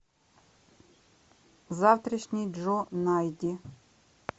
завтрашний джо найди